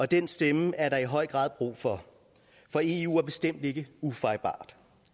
den stemme er der i høj grad brug for for eu er bestemt ikke ufejlbarligt